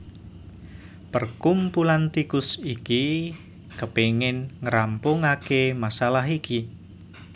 Perkumpulan tikus iki kepingin ngrampungaké masalah iki